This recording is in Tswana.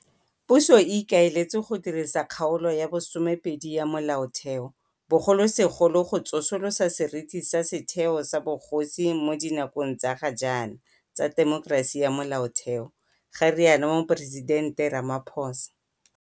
Puso e ikaeletse go dirisa Kgaolo ya bo 12 ya Molaotheo, bogolosegolo go tsosolosa seriti sa setheo sa bogosi mo dinakong tsa ga jaana tsa temokerasi ya Molaotheo, ga rialo Moporesitente Ramaphosa.